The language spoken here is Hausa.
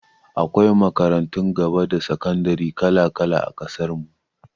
Akwai makarantun gaba da sakandare kala-kala a ƙasar mu.